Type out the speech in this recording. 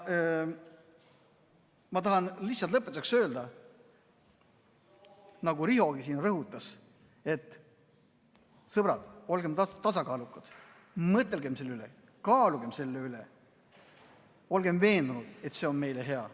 Ma tahan lihtsalt lõpetuseks öelda, nagu Rihogi siin rõhutas: sõbrad, olgem tasakaalukad, mõtelgem selle peale, kaalugem seda ja olgem veendunud, et see on meile hea!